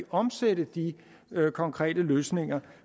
omsætte de konkrete løsninger